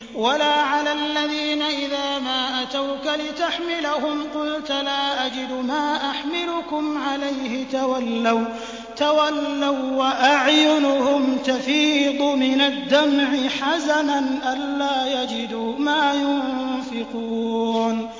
وَلَا عَلَى الَّذِينَ إِذَا مَا أَتَوْكَ لِتَحْمِلَهُمْ قُلْتَ لَا أَجِدُ مَا أَحْمِلُكُمْ عَلَيْهِ تَوَلَّوا وَّأَعْيُنُهُمْ تَفِيضُ مِنَ الدَّمْعِ حَزَنًا أَلَّا يَجِدُوا مَا يُنفِقُونَ